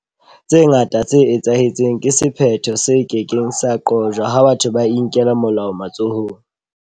Tse ngata tse etsahetseng ke sephetho se ke keng sa qojwa ha batho ba inkela molao matsohong.